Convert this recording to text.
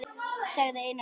sagði Einar og spurði.